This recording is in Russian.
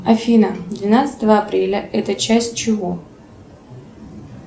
афина двенадцатое апреля это часть чего